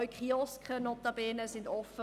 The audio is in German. Auch Kioske sind notabene geöffnet;